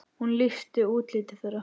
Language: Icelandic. Hún lýsti útliti þeirra.